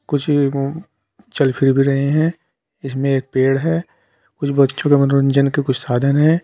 कुछ चल फिर भी रहे हैं इसमें एक पेड़ है कुछ बच्चों के मनोरंजन के कुछ साधन हैं।